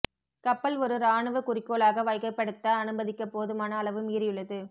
கப்பல் ஒரு இராணுவ குறிக்கோளாக வகைப்படுத்த அனுமதிக்க போதுமான அளவு மீறியுள்ளது